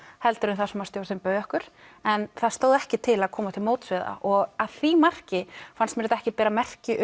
heldur en það sem stjórnin bauð okkur en það stóð ekki til að koma til móts við það og að því marki fannst mér þetta ekki bera merki